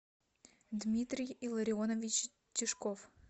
дмитрий илларионович тишков